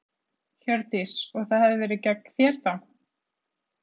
Hjördís: Og það hafi verið gegn þér þá?